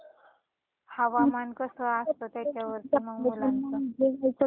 हवामान कस असतNoise त्याच्यावरती मुलांच सगळ असत